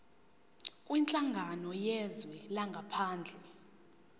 kwinhlangano yezwe langaphandle